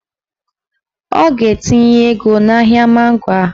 Ọ ga-etinye ego n'ahịa mango a